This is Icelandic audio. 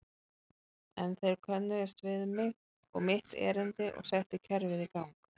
En þeir könnuðust við mig og mitt erindi og settu kerfið í gang.